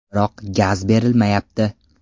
Biroq gaz berilmayapti.